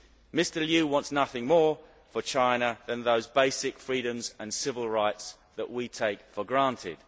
Mr Liu wants nothing more for China than those basic freedoms and civil rights that we take for granted.